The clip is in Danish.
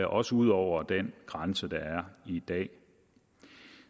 også ud over den grænse der er i dag